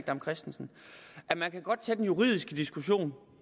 dam kristensen at man godt kan tage den juridiske diskussion